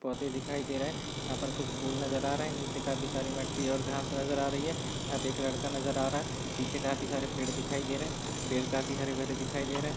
पौधे दिखाई दे रहे है यहाँ पर कुछ फूल नज़र आ रहे है निचे काफी सारी मट्टी और घास नज़र आ रही है यहाँ पे एक लड़का नज़र आ रहा है पीछे काफी सारे पेड़ दिखाई दे रहे है पेड़ काफी हरे भरे दिखाई दे रहे है।